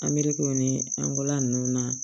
Anbirikiw ni an ko la ninnu na